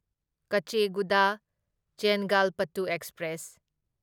ꯀꯆꯦꯒꯨꯗꯥ ꯆꯦꯡꯒꯥꯜꯄꯠꯇꯨ ꯑꯦꯛꯁꯄ꯭ꯔꯦꯁ